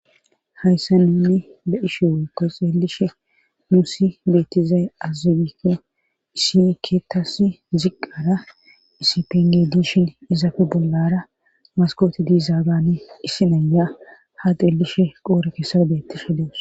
Hayssa nunni be ishe woykko xeelishe nuusi beettizay azugike isikeetas ziqqara isipenge dishin izaafe bollara maskooti dizaabane issi nayya ha xeelishe qoore kessa beettishe deus